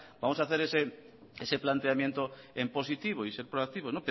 vamos a hacer ese planteamiento en positivo y ser proactivos